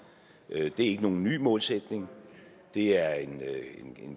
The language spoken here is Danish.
det er ikke nogen ny målsætning det er en